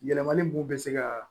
Yɛlɛmali b'u bɛ se ka